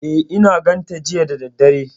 E, I na ganta jiya da daddare.